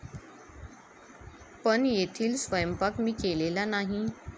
पण येथील स्वयंपाक मी केलेला नाही.